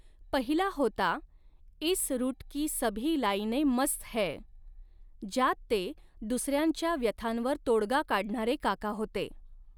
पहिला होता इस रूट की सभी लाईने मस्त हैं ज्यात ते दुसऱ्यांच्या व्यथांवर तोडगा काढणारे काका होते.